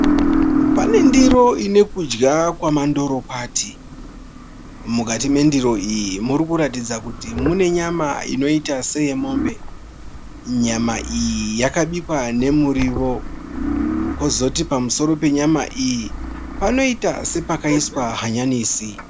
Pane ndiro ine kudya kwamandorokwati. Mukati mendiro iyi murikuratidza kuti mune nyama inoita seyemombe. Nyama iyi yakabikwa nemurio. Kozoti pamusoro penyama iyi panoita sepakaiswa hanyanisi.